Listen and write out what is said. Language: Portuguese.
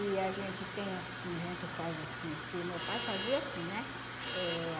E a gente tem assim, a gente faz assim, porque meu pai fazia assim, né? Eh